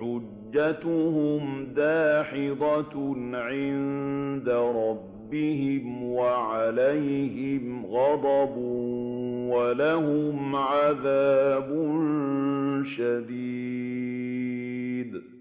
حُجَّتُهُمْ دَاحِضَةٌ عِندَ رَبِّهِمْ وَعَلَيْهِمْ غَضَبٌ وَلَهُمْ عَذَابٌ شَدِيدٌ